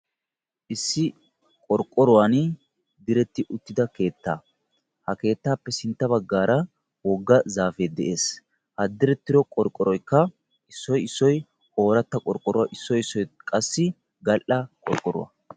Issi qorqqoruwan direti uttidaa keettaa ha keettaappe sintta baggaara wogga zaafee de'ees. Ha direttiro qorqqoroykka issoy issoy ooratta qorqqoruwa issoy issoy qassi gal"a qorqqoruwa.